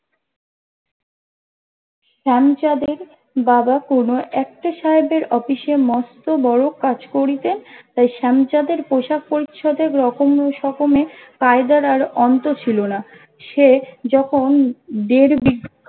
শ্যামচাঁদ এর বাবা কোনো একটা সাহেবের অফিসে মস্ত বড়ো কাজ করিতেন তাই শ্যামচাঁদ এর পোশাক পরিচ্ছদে রকমে সকমে কায়দার আর অন্ত ছিল না সে যখন দেড়বিঘা